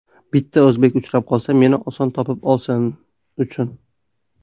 Bitta o‘zbek uchrab qolsa, meni oson topib olsin uchun.